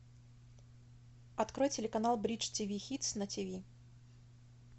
открой телеканал бридж тв хитс на тиви